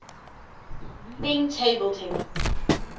leading table tennis